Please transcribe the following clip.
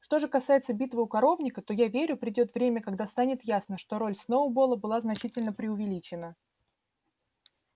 что же касается битвы у коровника то я верю придёт время когда станет ясно что роль сноуболла была значительно преувеличена